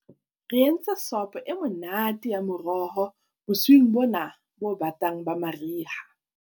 re entse sopo e monate ya meroho bosiung bona bo batang ba mariha